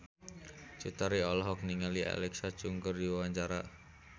Cut Tari olohok ningali Alexa Chung keur diwawancara